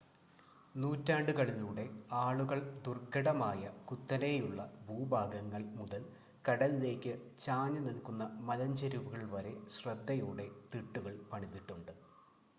നൂറ്റാണ്ടുകളിലൂടെ ആളുകൾ ദുർഘടമായ കുത്തനെയുള്ള ഭൂഭാഗങ്ങൾ മുതൽ കടലിലേക്ക് ചാഞ്ഞ് നിൽക്കുന്ന മലഞ്ചെരിവുകളിൽ വരെ ശ്രദ്ധയോടെ തിട്ടുകൾ പണിതിട്ടുണ്ട്